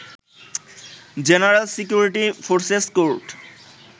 general security forces court